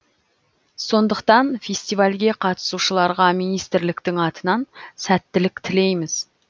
сондықтан фестивальге қатысушыларға министрліктің атынан сәттілік тілейміз